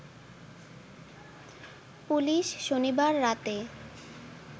police শনিবার রাতে